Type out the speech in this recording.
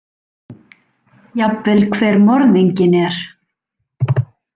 Jafnvel hver morðinginn er.